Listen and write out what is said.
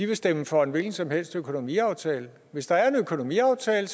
vil stemme for en hvilken som helst økonomiaftale hvis der er en økonomiaftale